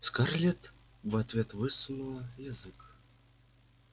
скарлетт в ответ высунула язык